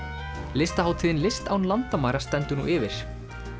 listahátíðin list án landamæra stendur nú yfir